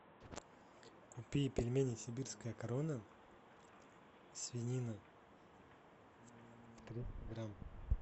купи пельмени сибирская корона свинина триста грамм